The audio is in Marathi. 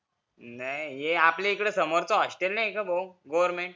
नाही ये आपल्याकडच hostel नाही का भो government